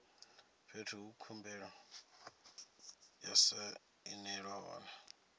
fhethu he khumbelo ya sainelwa hone